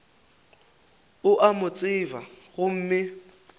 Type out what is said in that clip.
o a mo tseba gomme